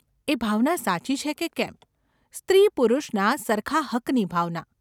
એ ભાવના સાચી છે કે કેમ, સ્ત્રીપુરુષના સરખા હક્કની ભાવના.